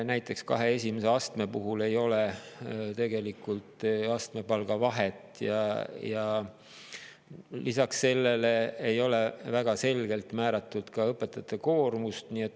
Näiteks kahe esimese astme puhul ei ole tegelikult astmepalga vahet ja lisaks sellele ei ole väga selgelt määratud ka õpetajate koormust.